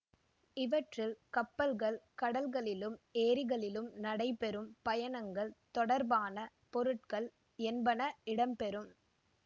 இவற்றில் கப்பல்கள் கடல்களிலும் ஏரிகளிலும் நடைபெறும் பயணங்கள் தொடர்பான பொருட்கள் என்பன இடம்பெறும்